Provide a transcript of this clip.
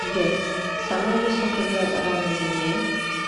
сбер самая высокая гора на земле